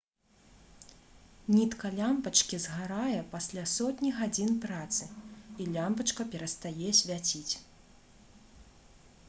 нітка лямпачкі згарае пасля сотні гадзін працы і лямпачка перастае свяціць